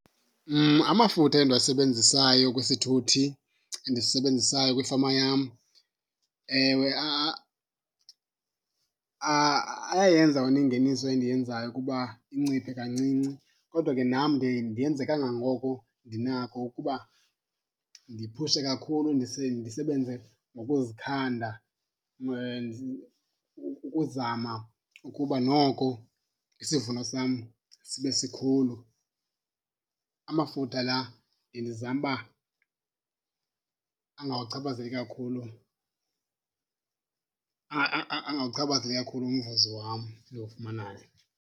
Amafutha endiwasebenzisayo kwisithuthi endisisebenzisayo kwifama yam ewe ayayenza wena ingeniso endiyenzayo ukuba inciphe kancinci kodwa ke nam ndiye ndenze kangangoko ndinako ukuba ndiphushe kakhulu ndisebenze ngokuzikhanda ukuzama ukuba noko isivuno sam sibe sikhulu. Amafutha la bendizama uba angawachaphazeli kakhulu, angawuchaphazeli kakhulu umvuzo wam endiwufumanayo.